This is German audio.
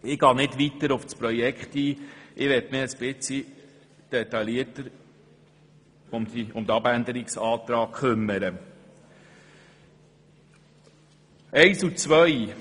Ich gehe nicht weiter auf das Projekt ein, sondern möchte mich etwas detaillierter um die Abänderungsanträge kümmern.